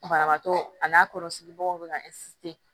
Banabaatɔ a n'a kɔrɔ sigi bagaw bɛ ka